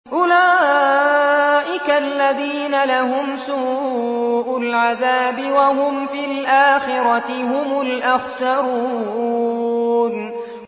أُولَٰئِكَ الَّذِينَ لَهُمْ سُوءُ الْعَذَابِ وَهُمْ فِي الْآخِرَةِ هُمُ الْأَخْسَرُونَ